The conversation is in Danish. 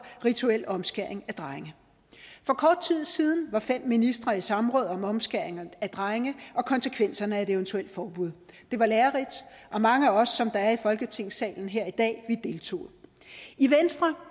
rituel omskæring af drenge for kort tid siden var fem ministre i samråd om omskæring af drenge og konsekvenserne af et eventuelt forbud det var lærerigt og mange af os der er i folketingssalen her i dag deltog i venstre